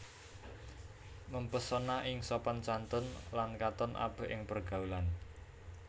Mempesona ing sopan santun lan katon apik ing pergaulan